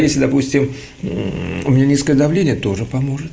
если допустим у меня низкое давление тоже поможет